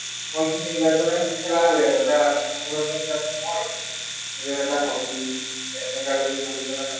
সময়খিনি ওলাই পেলাই খেলা হয় আৰু এটা মনোৰঞ্জনৰ কাৰণে এটা hobby এনেকা বুলি ভাবি পেলাই